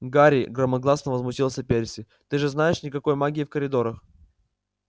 гарри громогласно возмутился перси ты же знаешь никакой магии в коридорах